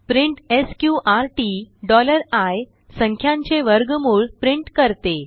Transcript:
print SQRT i संख्यांचे वर्गमूळ print करते